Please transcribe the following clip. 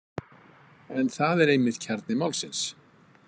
En það er einmitt kjarni málsins.